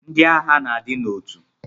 Ndi agha na adi na otu.